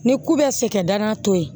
Ni ko bɛ se kɛ danaya to ye